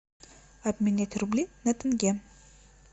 обменять рубли на тенге